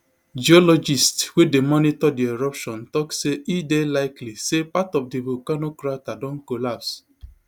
geologists wey dey monitor di eruption tok say e dey likely say part of di volcano crater don collapse